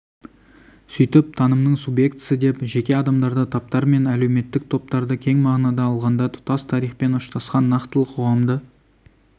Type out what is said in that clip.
сөйтіп танымның субъектісі деп жеке адамдарды таптар мен әлеуметтік топтарды кең мағынада алғанда тұтас тарихпен ұштасқан нақтылы қоғамды